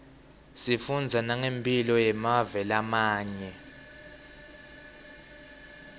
sifundza nangemphilo yemave lamanye